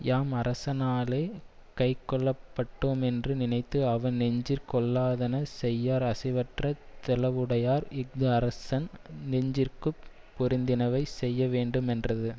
யாம் அரசனாலே கைக்கொள்ளப்பட்டோமென்று நினைத்து அவன் நெஞ்சிற் கொள்ளாதன செய்யார் அசைவற்ற தௌவுடையார் இஃது அரசன் நெஞ்சிற்குப் பொருந்தினவை செய்ய வேண்டுமென்றது